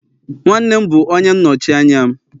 nwannem bu onye nnochi anya'm